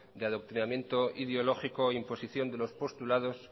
de adoctrinamiento ideológico e imposición de los postulados